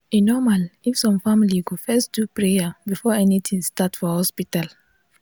e normal if some family go first do prayer before anything start for hospital.